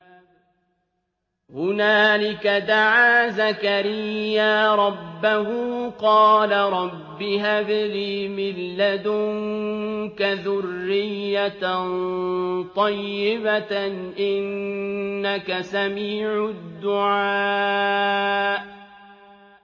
هُنَالِكَ دَعَا زَكَرِيَّا رَبَّهُ ۖ قَالَ رَبِّ هَبْ لِي مِن لَّدُنكَ ذُرِّيَّةً طَيِّبَةً ۖ إِنَّكَ سَمِيعُ الدُّعَاءِ